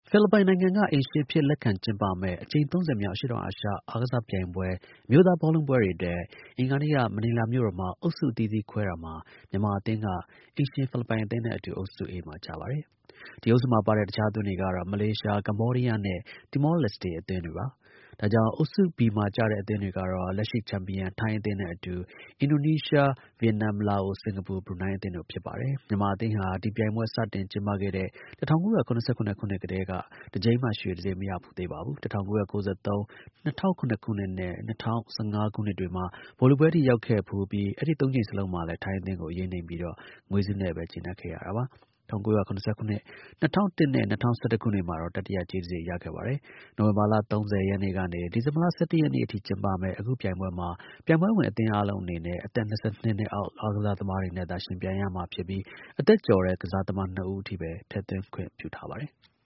ဖိလစ်ပိုင်နိုင်ငံက အိမ်ရှင်အဖြစ် လက်ခံကျင်းပမယ့် အကြိမ် ၃၀ မြောက် အရှေ့တောင်အာရှ အားကစားပြိုင်ပွဲ အမျိုးသား ဘောလုံးပွဲတွေအတွက် အင်္ဂါနေ့က မနီလာမြို့တော်မှာ အုပ်စုအသီးသီးခွဲတာမှာ မြန်မာအသင်းဟာ အိမ်ရှင် ဖိလစ်ပိုင်အသင်းနဲ့ အတူ အုပ်စု A မှာကျပါတယ်။ ဒီအုပ်စုမှာပါတဲ့ တခြားအသင်းတွေကတော့ မလေးရှား၊ ကမ္ဘောဒီးယားနဲ့ တီမော လက်စ်တေ အသင်းတွေပါ။ ဒါကြောင့် အုပ်စု B မှာကျတဲ့အသင်းတွေကတော့ လက်ရှိချန်ပီယံ ထိုင်းအသင်းနဲ့အတူ အင်ဒိုနီးရှား၊ ဗီယက်နမ်၊ လာအို၊ စင်္ကာပူ၊ ဘရူနိုင်းအသင်းတို့ ဖြစ်ပါတယ်။ မြန်မာအသင်းဟာ ဒီပြိုင်ပွဲ စတင်ကျင်းပတဲ့ ၁၉၇၇ ခုနှစ်ကတည်းက တကြိမ်မှ ရွှေတံဆိပ် မရဖူးသေးပါဘူး။ ၁၉၉၃၊ ၂၀၀၇ နဲ့ ၂၀၁၅ ခုနှစ်တွေမှာ ဗိုလ်လုပွဲထိ ရောက်ခဲ့ဖူးပြီး အဲဒီသုံးကြိမ်စလုံးမှာလည်း ထိုင်းအသင်းကို အရေးနိမ့်ပြီးတော့ ငွေဆုနဲ့ပဲ ကျေနပ်ခဲ့ရတာပါ။ ၁၉၇၇၊ ၂၀၀၁ နဲ့ ၂၀၁၁ ခုနှစ်တွေမှာတော့ တတိယ ကြေးတံဆိပ် ရခဲ့ပါတယ်။ နိုဝင်ဘာလ ၃၀ ရက်နေ့ကနေ ဒီဇင်ဘာလ ၁၁ ရက်နေ့အထိ ကျင်းပမယ့် အခုပြိုင်ပွဲမှာ ပြိုင်ပွဲဝင်အသင်းအားလုံးအနေနဲ့ အသက် ၂၂ အောက် ကစားသမားတွေနဲ့သာ ယှဉ်ပြိုင်ရမှာဖြစ်ပြီး အသက်ကျော်တဲ့ ကစားသမား နှစ်ဦးအထိပဲ ထည့်သွင်းခွင့် ပြုထားပါတယ်။